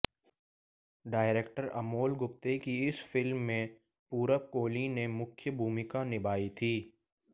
director Amole Gupte की इस film में पूरब कोहली ने मुख्य भूमिका निभाई थी